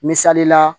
Misali la